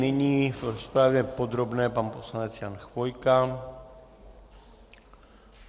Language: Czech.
Nyní v rozpravě podrobné pan poslanec Jan Chvojka.